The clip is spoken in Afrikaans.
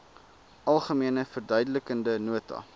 algemene verduidelikende nota